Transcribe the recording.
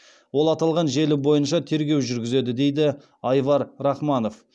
ол аталған желі бойынша тергеу жүргізеді деді айвар рахманов